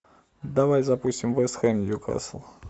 давай запустим вест хэм ньюкасл